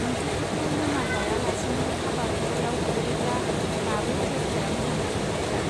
नोंसोरबोथ' लोंङा जाया लासिनो हाबा हुखायाव अरोब्ला दाबो अबस्थाया मोजां जाफिनगौदा.